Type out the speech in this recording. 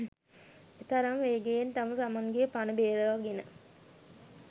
එතරම් වේගයෙන් තම තමන්ගේ පණ බේරාගෙන